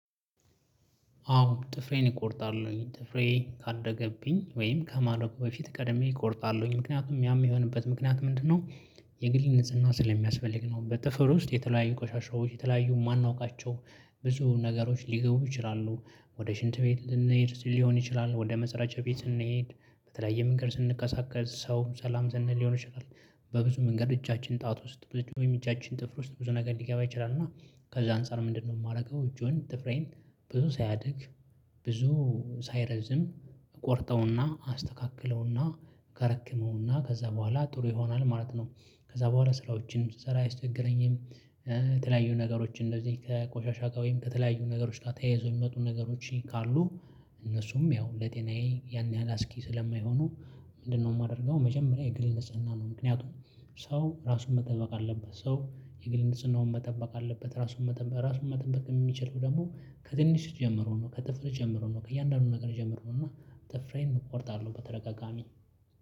አዎ ጥፍሬን እቆርጣለሁኝ ጥፍሬ ካደገብኝ ወይም ከማደጉ በፊት ቀደም ብዬ እቆርጣለሁኝ ምክንያቱም ያም የሆነበት ምክንያት ምንድነው? የግል ንጽህና ስለሚያስፈልግ ነው። በጥፍር ውስጥ የተለያዩ ቆሻሻዎች የተለያዩ የማናውቃቸው ብዙ ነገሮች ሊገቡ ይችላሉ ወደ ሽንት ቤት ልንሄድ ሊሆን ይችላል ወደ መጸዳጃ ቤት ስንሄድ በተለያየ መንገድ ስንቀሳቀስ ሰው ሰላም ስንል ሊሆን ይችላል። በብዙ መንገድ እጃችን ጣት ውስጥ ብዙ እጃችን ጥፍር ውስጥ ብዙ ነገር ሊገባ ይችላል። እና ከዛ አንፃር ምንድነው የማደርገው ጆን ጥፍሬን ብዙ ሳያድግ ብዙ ሳይረዝም ቆርጠውና አስተካክለውና ከረክመውና ከዛ በኋላ ጥሩ ይሆናል ማለት ነው። ከዛ በኋላ ስራዎችን ስሰራ አይስቸገረኝም። የተለያዩ ነገሮች እንደዚህ ቆሻሻ ጋር ወይም ከተለያዩ ነገሮች ጋር ተያይዘው የሚመጡ ነገሮች ካሉ። እነሱም ያው ለጤናዬ ያን ያህል አስኪ ስለማይሆኑ። ምንድነው ማደርገው መጀመሪያ የግል ንጽህና ነው። ምክንያቱም ሰው ራሱን መጠበቅ አለበት ሰው የግል ንጽህናውን መጠበቅ አለበት። ራሱን መጠበቅ ራሱን መጠበቅ ሚችለው ደግሞ ከትንሽ ጀምሮ ነው ከጥፍር ጀምሮ ነው ከእያንዳንዱ ነገር ጀምሮ ነው። እና ጥፍሬን እቆርጣለሁ በተደጋጋሚ።